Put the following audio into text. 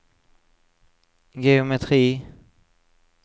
geometri